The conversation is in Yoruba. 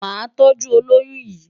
Màá tọ́jú olóyún yìí.